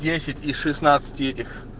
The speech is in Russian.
десять из шестнадцати этих